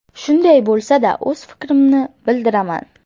Shunday bo‘lsa-da, o‘z fikrimni bildiraman.